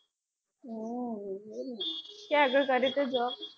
ક્યાં આગળ કરે છે job?